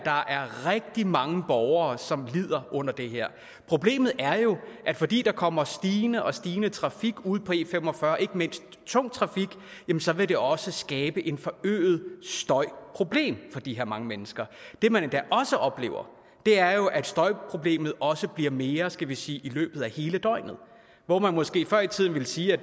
rigtig mange borgere som lider under det her problemet er jo at fordi der kommer stigende og stigende trafik ude på e45 ikke mindst tung trafik så vil det også skabe et forøget støjproblem for de her mange mennesker det man endda også oplever er jo at støjproblemet også bliver mere skal vi sige i løbet af hele døgnet hvor man måske før i tiden ville sige at